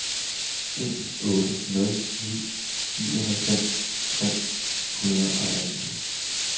en otte nul ni nioghalvfems tre hundrede og atten